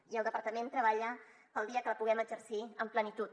i el departament treballa pel dia que la puguem exercir amb plenitud